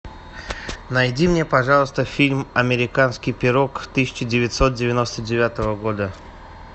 найди мне пожалуйста фильм американский пирог тысяча девятьсот девяносто девятого года